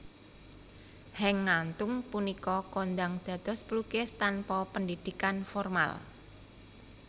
Henk Ngantung punika kondhang dados pelukis tanpa pendidikan formal